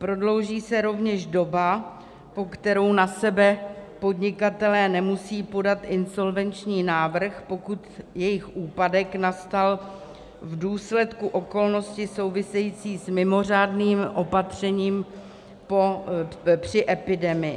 Prodlouží se rovněž doba, po kterou na sebe podnikatelé nemusí podat insolvenční návrh, pokud jejich úpadek nastal v důsledku okolnosti související s mimořádným opatřením při epidemii.